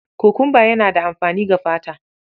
Kokumba yana da amfani ga fata.